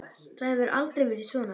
Það hefur aldrei verið svona.